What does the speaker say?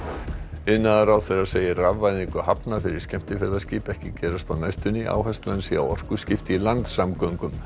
iðnaðarráðherra segir rafvæðingu hafna fyrir skemmtiferðaskip ekki gerast á næstunni áherslan sé á orkuskipti í landsamgöngum